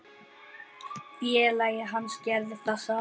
Félagi hans gerði það sama.